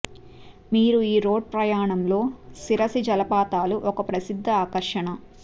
మీ ఈ రోడ్ ప్రయాణంలో శిరసి జలపాతాలు ఒక ప్రసిద్ధ ఆకర్షణ